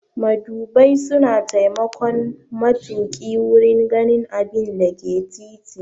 Madubai suna taimakon matuƙi wurin ganin abinda ke titi.